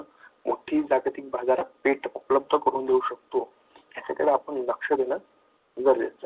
मोठी जागतिक बाजारपेठ उपलब्ध करून देऊ शकतो. त्याच्याकडे आपण लक्ष दिलं,